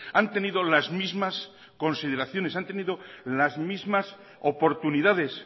han tenido las mismas consideraciones han tenido las mismas oportunidades